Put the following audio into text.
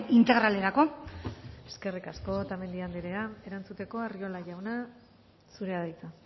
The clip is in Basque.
integralerako eskerrik asko otamendi anderea erantzuteko arriola jauna zurea da hitza